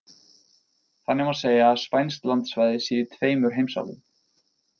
Þannig má segja að spænskt landsvæði sé í tveimur heimsálfum.